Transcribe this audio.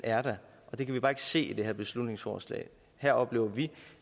er der og det kan vi bare ikke se i det her beslutningsforslag her oplever vi